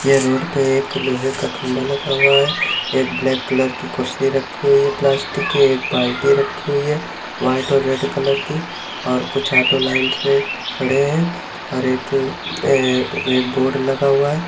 ये रोड पर लोहे का खंबा लगा हुआ है एक ब्लैक कलर की कुर्सी रखी हुई है प्लास्टिक की बाल्टी रखी हुई है वाइट और रेड कलर की कुछ लाइन से ऑटो खड़े हुए हैं एक अ बोर्ड लगा हुआ है।